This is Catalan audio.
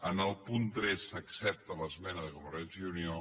en el punt tres s’accepta l’esmena de convergència i unió